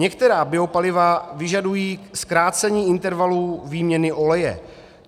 Některá biopaliva vyžadují zkrácení intervalů výměny oleje.